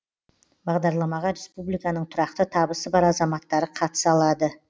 бағдарламаға республиканың тұрақты табысы бар азаматтары қатыса алады